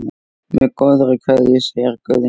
Með góðri kveðju, segir Guðni.